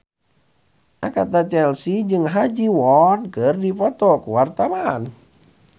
Agatha Chelsea jeung Ha Ji Won keur dipoto ku wartawan